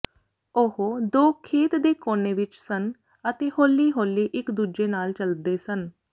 ਉਹ ਦੋ ਖੇਤ ਦੇ ਕੋਨੇ ਵਿਚ ਸਨ ਅਤੇ ਹੌਲੀ ਹੌਲੀ ਇਕ ਦੂਜੇ ਨਾਲ ਚੱਲਦੇ ਸਨ